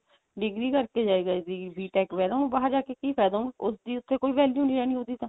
degree ਕਰਕੇ ਜਾਏਗਾ ਜੀ BTECH ਵਗੇਰਾ ਉਹ ਬਾਹਰ ਜਾ ਕੇ ਕੀ ਫਾਇਦਾ ਉਸਦੀ ਉੱਥੇ ਕੋਈ value ਨਹੀਂ ਰਹਿਣੀ ਉਹਦੀ ਤਾਂ